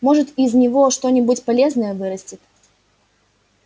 может из него что-нибудь полезное вырастет